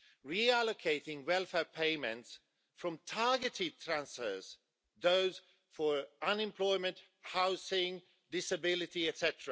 Reallocating welfare payments from targeted transfers, those for unemployment, housing disability, etc.